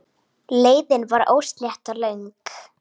Leiðin var óslétt og löng.